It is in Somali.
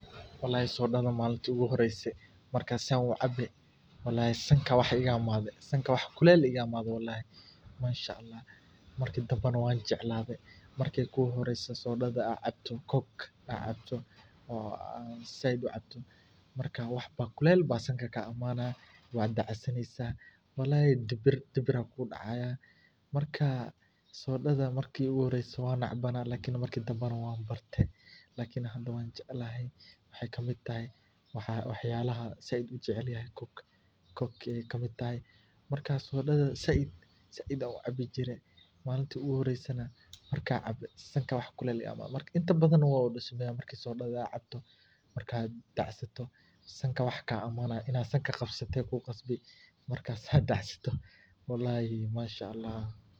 Malintii iigu horeyse aan cabe sankaa wax iga imaade, marka hore kuleel ayaa sanka kaa imaanaya, hada waan jeclahay, waxeeywkamid tahay waxa aan aad ujeclahay, markaad cabto waxbaa sanka kaa imaanaya.